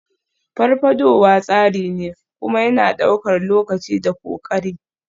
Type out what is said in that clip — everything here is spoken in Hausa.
Farfadowa tsari ne, kuma yana ɗaukar lokaci da ƙoƙari.